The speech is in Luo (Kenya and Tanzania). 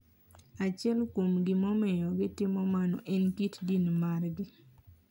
Achiel kuom gima omiyo gitimo mano en kit din margi.